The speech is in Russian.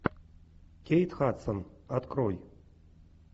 кейт хадсон открой